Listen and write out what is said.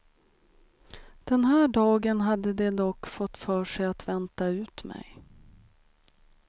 Den här dagen hade de dock fått för sig att vänta ut mig.